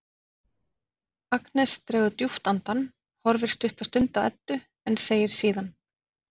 Agnes dregur djúpt andann, horfir stutta stund á Eddu en segir síðan